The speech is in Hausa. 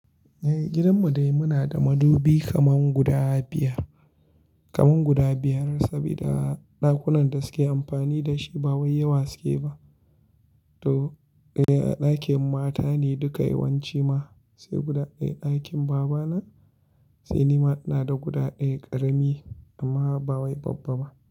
Eh gidan mu dai muna da madubi kaman guda biyar, kaman guda biyar sabida ɗakunan da suke amfani da shi ba wai yawa suke ba. To eh a ɗakin mata ne duka yawanci ma, sai guda ɗaya ɗakin baba na, sai ni ma ina da guda ɗaya ƙarami amma ba wai babba ba.